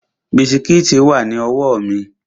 Bisikíìtì wà ní ọwọ́ mi